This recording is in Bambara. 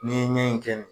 N'i ye ɲɛ in kɛ de